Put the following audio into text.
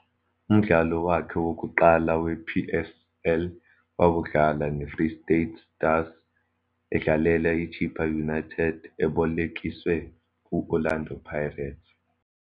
Umdlalo wakhe wokuqala wePSL wawudlala neFree State Stars, edlalela iChippa United ebolekiswe ku-Orlando Pirates.